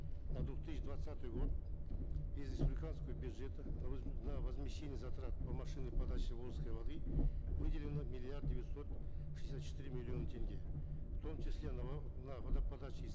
на две тысячи двадцатый год из республиканского бюджета на возмещение затрат по машинной подаче волжской воды выделено миллиард девятьсот шестьдесят четыре миллиона тенге в том числе на на водоподачи из